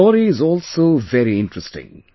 His story is also very interesting